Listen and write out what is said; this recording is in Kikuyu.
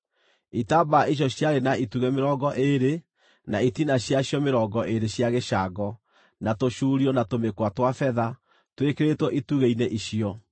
Itambaya icio ciarĩ na itugĩ mĩrongo ĩĩrĩ, na itina ciacio mĩrongo ĩĩrĩ cia gĩcango, na tũcuurio na tũmĩkwa twa betha, twĩkĩrĩtwo itugĩ-inĩ icio.